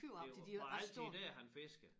Det var altid dér han fiskede?